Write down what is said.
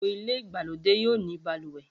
Gbogbo ilé ìgbàlódé yóò ní balùwẹ̀